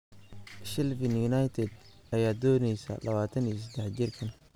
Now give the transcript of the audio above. Sheffield United ayaa dooneysa 23 jirkaan.